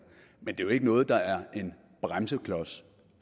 men det er jo ikke noget der er en bremseklods